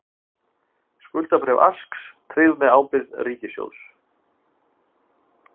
Skuldabréf Aska tryggð með ábyrgð ríkissjóðs